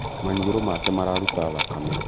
Maniũrũ make mararuta thakame